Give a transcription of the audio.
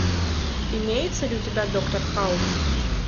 имеется ли у тебя доктор хаус